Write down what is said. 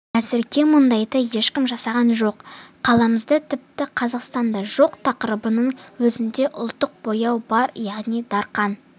әзірге мұндайды ешкім жасаған жоқ қаламызда тіпті қазақстанда жоқ тақырыбының өзінде ұлттық бояу бар яғни дарқан